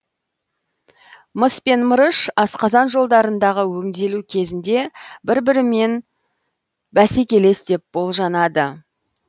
мыс пен мырыш асқазан жолдарындағы өңделу кезінде бір бірімен бәсекелес деп болжанады